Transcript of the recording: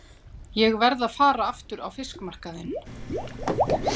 Ég verð að fara aftur á fiskmarkaðinn.